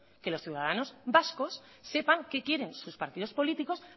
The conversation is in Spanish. que los ciudadanos vascos sepan qué quieren sus partidos políticos